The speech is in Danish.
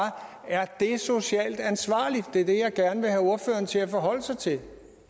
er det socialt ansvarligt det er det jeg gerne vil have ordføreren til at forholde sig til